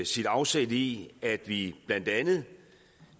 sit afsæt i at vi blandt andet